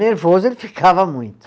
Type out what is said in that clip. Nervoso ele ficava muito.